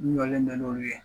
N jɔlendo n'olu ye